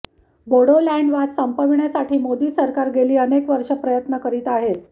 बोडोलॅंड वाद संपवण्यासाठी मोदी सरकार गेली अनेक वर्ष प्रयत्न करीत होते